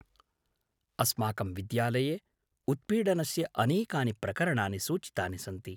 अस्माकं विद्यालये उत्पीडनस्य अनेकानि प्रकरणानि सूचितानि सन्ति।